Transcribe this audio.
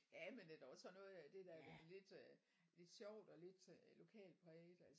Ja men det er da også sådan noget af det der er lidt øh lidt sjovt og lidt lokalpræget